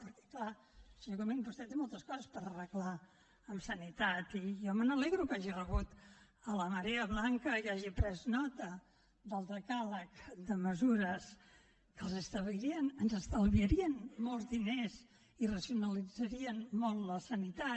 perquè clar senyor comín vostè té moltes coses per arreglar en sanitat i jo me n’alegro que hagi rebut la marea blanca i que hagi pres nota del decàleg de mesures que ens estalviarien molts diners i racionalitzarien molt la sanitat